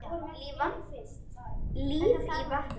Líf í vatni.